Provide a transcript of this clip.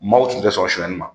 Maaw tun tɛ sɔn suɲɛni ma.